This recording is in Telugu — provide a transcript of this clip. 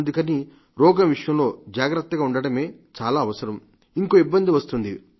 అందుకని రోగం విషయంలో జాగ్రత్తగా ఉండటమే చాలా అవసరం ఇంకో ఇబ్బంది వస్తుంది